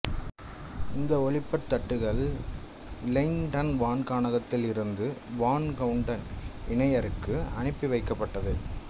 இந்த ஒளிப்பட்த் தட்டுகள் இலெய்டன் வான்காணகத்தில் இருந்த வான் கவுட்டன் இணையருக்கு அனுப்பி வைக்கப்பட்டது